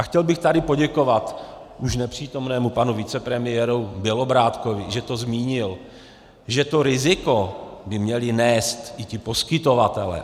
A chtěl bych tady poděkovat už nepřítomnému panu vicepremiéru Bělobrádkovi, že to zmínil, že to riziko by měli nést i ti poskytovatelé.